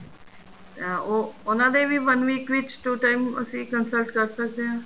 ਅਹ ਉਹ ਉਹਨਾ ਦੇ ਵੀ one week ਵਿੱਚ two time ਅਸੀਂ consult ਕਰ ਸਕਦੇ ਆ